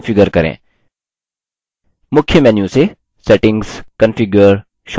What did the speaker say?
मुख्य menu से settings configure shortcuts पर click करें